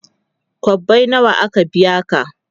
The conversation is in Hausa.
kwabbai nawa aka biya ka?